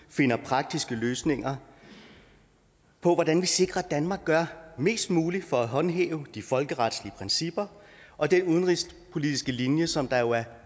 og finder praktiske løsninger på hvordan vi sikrer at danmark gør mest muligt for at håndhæve de folkeretlige principper og den udenrigspolitiske linje som der jo er